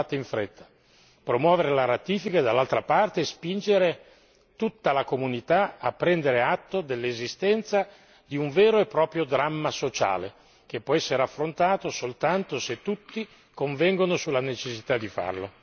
Queste due cose devono essere fatte in fretta, promuovere la ratifica e, dall'altra parte, spingere tutta la comunità a prendere atto dell'esistenza di un vero e proprio dramma sociale, che può essere affrontato soltanto se tutti convengono sulla necessità di farlo.